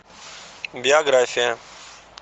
биография